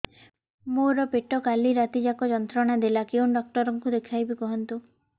ମୋର ପେଟ କାଲି ରାତି ଯାକ ଯନ୍ତ୍ରଣା ଦେଲା କେଉଁ ଡକ୍ଟର ଙ୍କୁ ଦେଖାଇବି କୁହନ୍ତ